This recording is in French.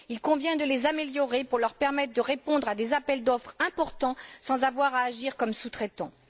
Il convient de les améliorer pour leur permettre de répondre à des appels d'offres importants sans avoir à agir comme sous traitants.